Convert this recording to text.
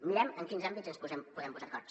mirem en quins àmbits ens podem posar d’acord